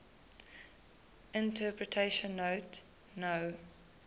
interpretation note no